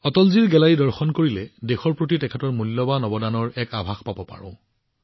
অটলজীৰ গেলেৰীত দেশলৈ আগবঢ়োৱা তেওঁৰ মূল্যৱান অৱদানৰ এক আভাস পাব পাৰোঁ